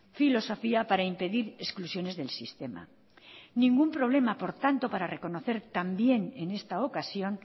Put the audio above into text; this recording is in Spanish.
filosofía para impedir exclusiones del sistema ningún problema por tanto para reconocer también en esta ocasión